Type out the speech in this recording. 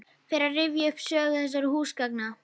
Fer að rifja upp sögu þessara húsgagna.